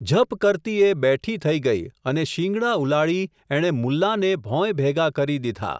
ઝપ કરતી એ બેઠી થઈ ગઈ, અને શિંગડાં ઉલાળી એણે મુલ્લાંને ભોંયભેગા કરી દીધા.